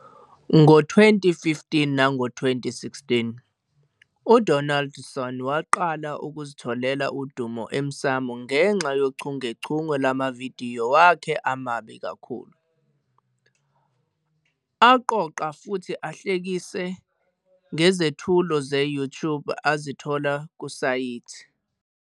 Ngo-2015 nango-2016, uDonaldson waqala ukuzitholela udumo emsamo ngenxa yochungechunge lwamavidiyo wakhe "amabi kakhulu," aqoqa futhi ahlekisa ngezethulo ze-YouTuber azithola kusayithi.